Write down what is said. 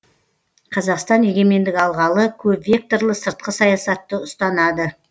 қазақстан егемендік алғалы көпвекторлы сыртқы саясатты ұстанады